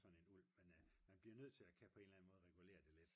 sådan en ulv men man bliver nødt til på en eller anden måde at kunne regulere det lidt